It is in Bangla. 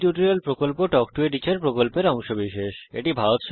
spoken tutorial talk to a teacher প্রকল্পের অংশবিশেষ